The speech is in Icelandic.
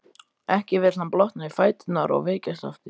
Ekki vill hann blotna í fæturna og veikjast aftur.